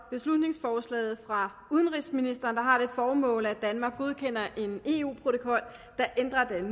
beslutningsforslag fra udenrigsministeren der har det formål at danmark godkender en eu protokol der ændrer den